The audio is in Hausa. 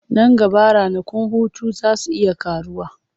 Nan gaba ranakun hutu za su iya ƙaruwa.